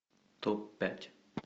топ пять